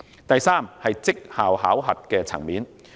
第三，績效考核。